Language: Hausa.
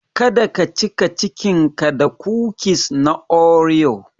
Kada ka cika cikinka da kukis na oreo.